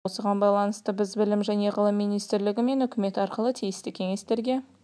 оған кіре алмайды осыған байланысты біз білім және ғылым министрлігі мен үкімет арқылы тиісті кеңестерге